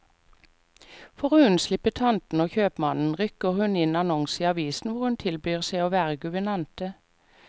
For å unnslippe tantene og kjøpmannen, rykker hun inn annonser i avisen hvor hun tilbyr seg å være guvernante.